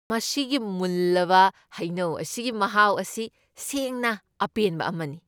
ꯃꯁꯤꯒꯤ ꯃꯨꯜꯂꯕ ꯍꯩꯅꯧ ꯑꯁꯤꯒꯤ ꯃꯍꯥꯎ ꯑꯁꯤ ꯁꯦꯡꯅ ꯑꯄꯦꯟꯕ ꯑꯃꯅꯤ꯫ ꯫